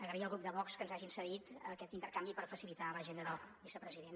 agrair al grup de vox que ens hagin cedit aquest intercanvi per facilitar l’agenda del vicepresident